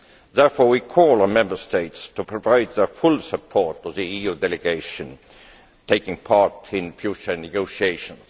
Therefore, we call on the Member States to provide their full support to the EU delegation taking part in future negotiations.